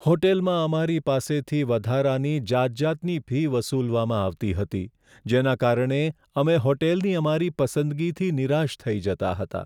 હોટેલમાં અમારી પાસેથી વધારાની જાતજાતની ફી વસૂલવામાં આવતી હતી, જેના કારણે અમે હોટલની અમારી પસંદગીથી નિરાશ થઈ જતા હતા.